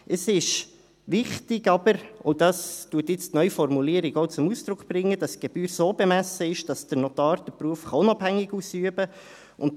Es ist aber wichtig – und dies bringt die Neuformulierung auch zum Ausdruck –, dass die Gebühr so bemessen ist, dass der Notar den Beruf unabhängig ausüben kann.